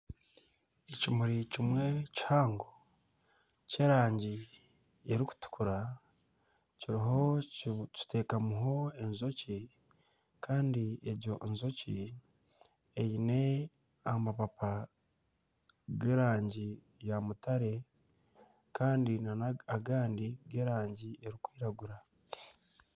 Ekimuri kimwe kihango ky'erangi erikutukura kiteekamiho enjoki kandi egyo njoki eine amapaapa g'erangi ya mutare kandi n'agandi g'erangi erikwiragura.